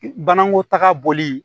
Banako taga bɔli